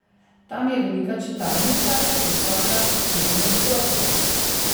Tam je velika čitalnica, visoka štiri nadstropja.